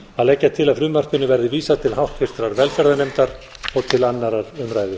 að leggja á að frumvarpinu verði vísað til háttvirtrar velferðarnefndar og til annarrar umræðu